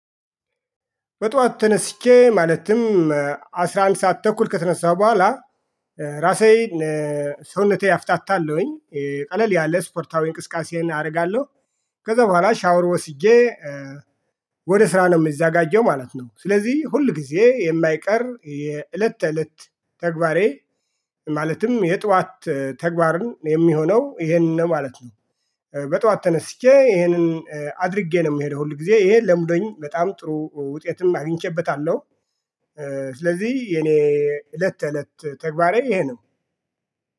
በጧት ተነስቼ ማለትም አስራ አንድ ሰዓት ተኩል ከተነሳሁ በኋላ ራሴ ሰውነቴ አፍታታለሁኝ ቀለል ያለ ስፖርታዊ እንቅስቃሴን አደርጋለሁ። ከዛ በኋላ ሻወር ወስጄ ወደ ስራ ነው የሚዘጋጀው ማለት ነው። ስለዚህ ሁል ጊዜ የማይቀር የእለት ተእለት ተግባሬ ማለትም የጧት ተግባር የሚሆነው ይሄንን ማለት ነው። በጧት ተነስቼ ይሄንን አድርጌ ነው የምሄደው ሁል ጊዜ ይሄ ለምዶኝ በጣም ጥሩ ውጤትም አግኝቼበታለሁ። ስለዚህ የኔ እለት እለት ተግባሬ ይሄ ነው